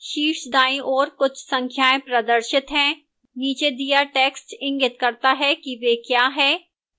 शीर्ष दाईं ओर कुछ संख्याएं प्रदर्शित हैं नीचे दिया टेक्स्ट इंगित करता है कि वे क्या हैं